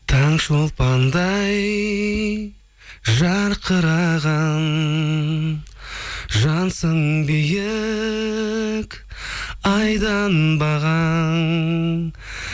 таң шолпандай жарқыраған жансың биік айдан бағаң